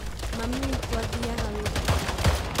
Mami witũ athiaga wĩra kũraihu.